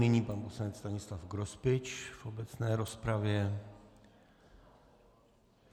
Nyní pan poslanec Stanislav Grospič v obecné rozpravě.